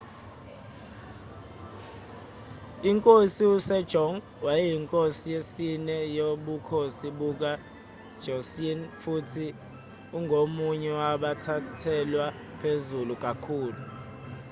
inkosi u-sejong wayeyinkosi yesine yobukhosi buka-joseon futhi ungomunye wabathathelwa phezulu kakhulu